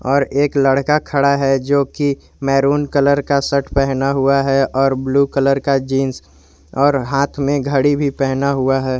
और एक लड़का खड़ा है जो की मैरून कलर का शर्ट पहना हुआ है और ब्लू कलर का जींस और हाथ में घड़ी भी पहना हुआ है।